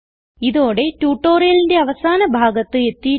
ഇതോടെ ട്യൂട്ടോറിയലിന്റെ അവസാന ഭാഗത്ത് എത്തിയിരിക്കുന്നു